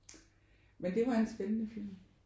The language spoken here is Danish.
Men det var en spændende film